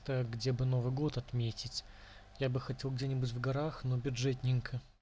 где бы новый год отметить я бы хотел где-нибудь в горах но бюджетника